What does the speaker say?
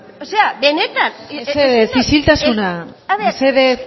o sea benetan mesedez isiltasuna mesedez